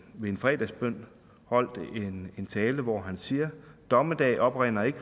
ved en fredagsbøn holdt en tale hvor han siger dommedag oprinder ikke